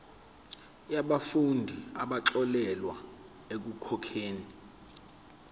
yabafundi abaxolelwa ekukhokheni